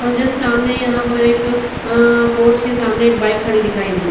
और जस्ट सामने यहां पर एक अअअ पोर्च के सामने एक बाइक खड़ी दिखाई दे रही है।